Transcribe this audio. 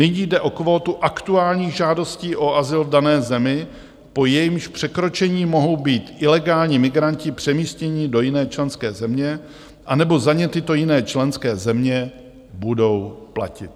Nyní jde o kvótu aktuálních žádostí o azyl v dané zemi, po jejímž překročení mohou být ilegální migranti přemístěni do jiné členské země, anebo za ně tyto jiné členské země budou platit.